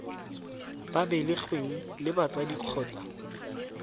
ba belegweng le batsadi kgotsa